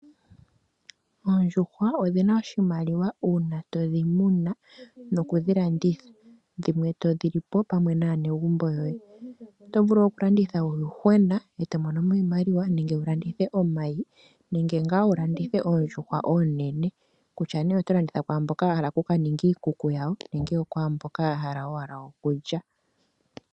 Oondjuhwa odhina oshimaliwa uuna todhi muna nokudhilanditha dhimwe todhi lipo pamwe naanegumbo lyoye. Oto vulu okulanditha uuyuhwena eto monomo iimaliwa nenge wu landithe omayi nenge ngaa wulandithe oondjuhwa oonene kutya nee oto landitha kwaamboka ya hala okukaninga iikuku yawo nenge okwaamboka ya hala owala okulya.